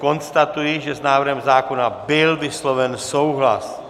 Konstatuji, že s návrhem zákona byl vysloven souhlas.